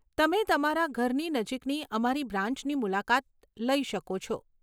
તમે તમારા ઘરની નજીકની અમારી બ્રાન્ચની મુલાકાત લઇ શકો છો.